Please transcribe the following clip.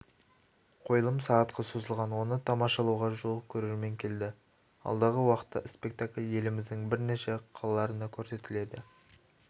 қойылым сағатқа созылған оны тамашалауға жуық көрермен келді алдағы уақытта спектакль еліміздің бірнеше қалаларында көрсетіледі